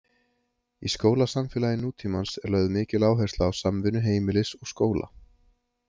Í skólasamfélagi nútímans er lögð mikil áhersla á samvinnu heimilis og skóla.